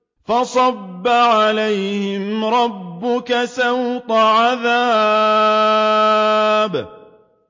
فَصَبَّ عَلَيْهِمْ رَبُّكَ سَوْطَ عَذَابٍ